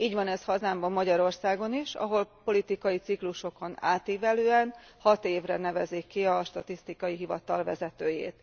Így van ez hazámban, Magyarországon is, ahol politikai ciklusokon átívelően, hat évre nevezik ki statisztikai hivatal vezetőjét.